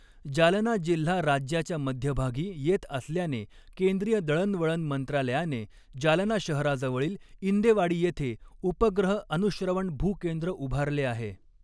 जालना जिल्हा राज्याच्या मध्यभागी येत असल्याने केंद्रीय दळणवळण मंत्रालयाने जालना शहराजवळील इंदेवाडी येथे उपग्रह अनुश्रवण भूकेंद्र ऊभारले आहे.